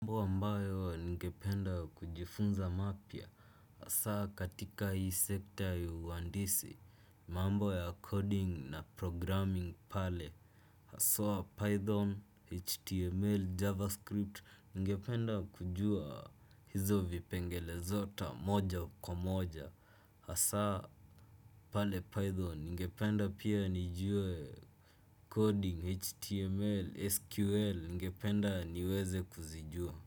Ambayo ningependa kujifunza mapya hasa katika hii sekta ya uhandisi mambo ya coding na programming pale hasa python, html, javascript ningependa kujua hizo vipengele zote moja kwa moja hasa pale python ningependa pia nijue coding, html, sql ningependa niweze kuzijua.